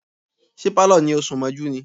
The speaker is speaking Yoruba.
Ṣé Pálọ̀ ni ó sún mọ́jú ni?